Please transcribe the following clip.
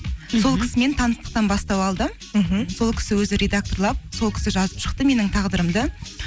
сол кісімен таныстықтан бастау алды мхм сол кісі өзі редакторлап сол кісі жазып шықты менің тағдырымды